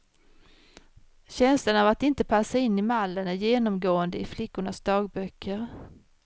Känslan av att inte passa in i mallen är genomgående i flickornas dagböcker.